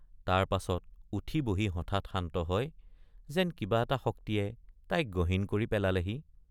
তাৰ পাছত উঠি বহি হঠাৎ শান্ত হয় যেন কিবা এটা শক্তিয়ে তাইক গহীন কৰি পেলালেহি।